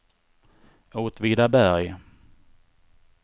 Åtvidaberg